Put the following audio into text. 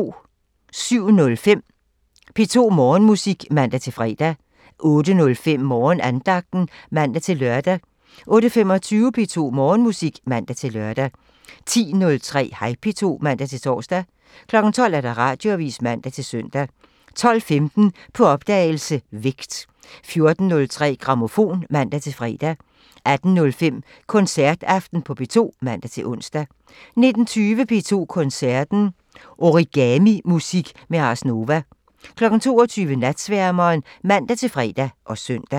07:05: P2 Morgenmusik (man-fre) 08:05: Morgenandagten (man-lør) 08:25: P2 Morgenmusik (man-lør) 10:03: Hej P2 (man-tor) 12:00: Radioavisen (man-søn) 12:15: På opdagelse – Vægt 14:03: Grammofon (man-fre) 18:05: Koncertaften på P2 (man-ons) 19:20: P2 Koncerten – Origamimusik med Ars Nova 22:00: Natsværmeren (man-fre og søn)